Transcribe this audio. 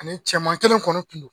Ani cɛman kelen kɔnɔ kun no.